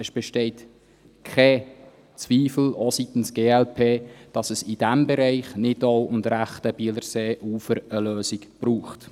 Es besteht kein Zweifel, auch seitens der glp nicht, dass es im Bereich Nidau und rechtes Bielerseeufer eine Lösung braucht.